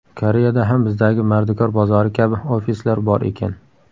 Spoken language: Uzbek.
Koreyada ham bizdagi mardikor bozori kabi ofislar bor ekan.